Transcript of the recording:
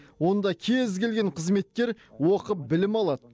онда кез келген қызметкер оқып білім алады